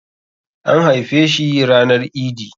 An haife ranar idi